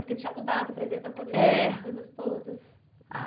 Porque tinha mudado, o presidente da comissão coisas todas. Ah